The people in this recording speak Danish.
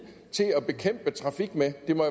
til at bekæmpe trafik med det må